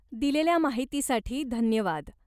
दिलेल्या माहितीसाठी धन्यवाद.